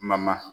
Ma ma